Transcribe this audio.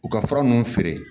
U ka fura ninnu feere